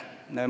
Toon näite.